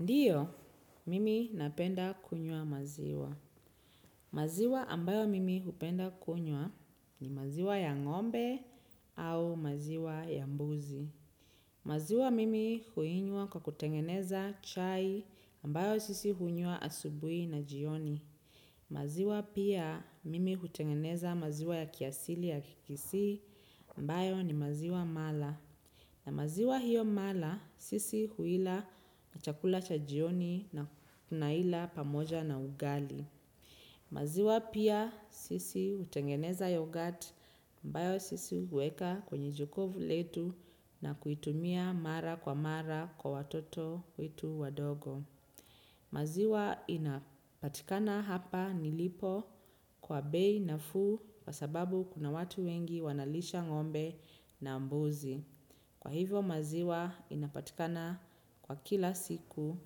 Ndiyo, mimi napenda kunywa maziwa. Maziwa ambayo mimi hupenda kunywa ni maziwa ya ngombe au maziwa ya mbuzi. Maziwa mimi huinywa kwa kutengeneza chai ambayo sisi hunywa asubuhi na jioni. Maziwa pia mimi hutengeneza maziwa ya kiasili ya kikisii ambayo ni maziwa mala. Na maziwa hiyo mala sisi huila na chakula cha jioni na tunaila pamoja na ugali. Maziwa pia sisi hutengeneza yoghurt ambayo sisi huweka kwenye jokovu letu na kuitumia mara kwa mara kwa watoto wetu wadogo. Maziwa inapatikana hapa nilipo kwa bei nafuu kwasababu kuna watu wengi wanalisha ngombe na mbuzi. Kwa hivo maziwa inapatikana kwa kila siku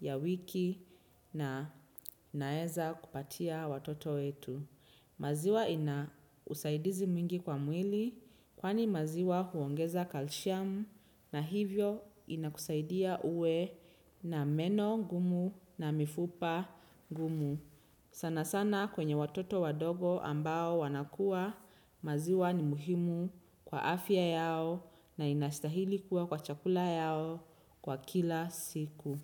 ya wiki na nweza kupatia watoto wetu. Maziwa ina usaidizi mwingi kwa mwili kwani maziwa huongeza kalshamu na hivyo inakusaidia uwe na meno gumu na mifupa gumu. Sana sana kwenye watoto wadogo ambao wanakuwa maziwa ni muhimu kwa afya yao na inastahili kuwa kwa chakula yao kwa kila siku.